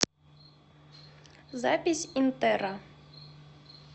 запись интерра